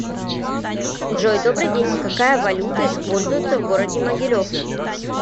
джой добрый день какая валюта используется в городе могилев